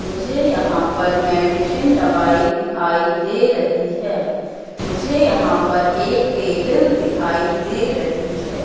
मुझे यहां पर मेडिसिन दवाई दिखाई दे रही है मुझे यहां पर एक टेबल दिखाई दे रही है।